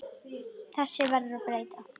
Þessu verður að breyta!